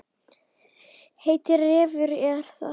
Heitir Refur og er það.